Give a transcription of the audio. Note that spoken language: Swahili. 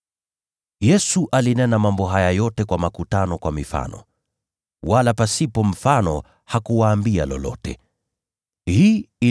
Yesu alinena mambo haya yote kwa makutano kwa mifano. Wala hakuwaambia lolote pasipo mfano.